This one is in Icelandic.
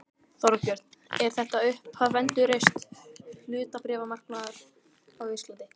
Þorbjörn: Er þetta upphaf endurreists hlutabréfamarkaðar á Íslandi?